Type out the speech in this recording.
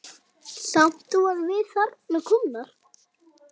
Samt vorum við þarna komnar.